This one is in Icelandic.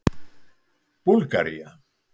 Búlgaría